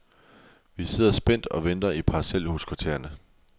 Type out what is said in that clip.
Vi sidder spændt og venter i parcelhuskvartererne.